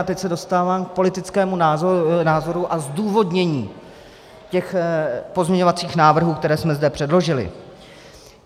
A teď se dostávám k politickému názoru a zdůvodnění těch pozměňovacích návrhů, které jsme zde předložili.